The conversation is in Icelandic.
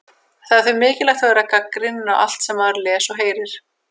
Það er því mikilvægt að vera gagnrýninn á allt sem maður les og heyrir.